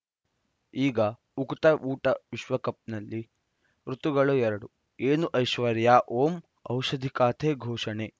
ಈಗ ಉಕುತ ಊಟ ವಿಶ್ವಕಪ್‌ನಲ್ಲಿ ಋತುಗಳು ಎರಡು ಏನು ಐಶ್ವರ್ಯಾ ಓಂ ಔಷಧಿ ಖಾತೆ ಘೋಷಣೆ